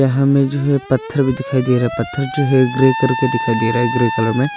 यहां में जो है पत्थर भी दिखाई दे रहा है पत्थर जो है ग्रे कर के दिखाई दे रहा है ग्रे कलर में।